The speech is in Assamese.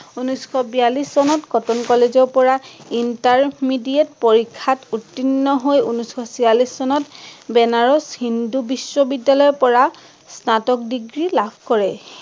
উনৈচশ বিয়াল্লিশ চনত কটন college ৰ পৰা intermediate পৰীক্ষাত উতীৰ্ণ হৈ উনৈচশ চিয়াল্লিশ চনত বেনাৰস হিন্দু বিশ্ব বিদ্যালয়ৰ পৰা স্নাতক degree লাভ কৰে।